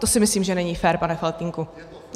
To si myslím, že není fér, pane Faltýnku.